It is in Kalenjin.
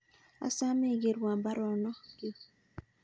Asome igerwan baruonokyuk